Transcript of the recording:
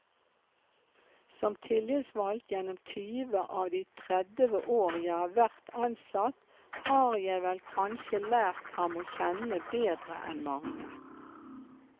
Som tillitsvalgt gjennom tyve av de tredve år jeg har vært ansatt, har jeg vel kanskje lært ham å kjenne bedre enn mange.